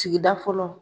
Sigida fɔlɔ